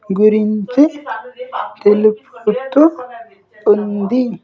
గురించి తెలుపుతూ ఉంది.